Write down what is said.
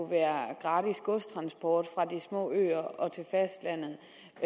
være gratis godstransport fra de små øer til fastlandet